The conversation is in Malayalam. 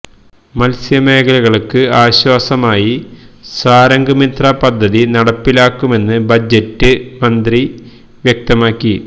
മത്സ്യമേഖലകള്ക്ക് ആശ്വാസമായി സാഗര് മിത്ര പദ്ധതി നടപ്പിലാക്കുമെന്ന് ബജറ്റില് മന്ത്രി വ്യക്തമാക്കി